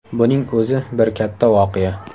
Buning o‘zi bir katta voqea.